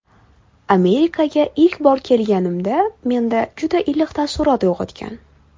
Amerikaga ilk bor kelganimda menda juda iliq taassurot uyg‘otgan.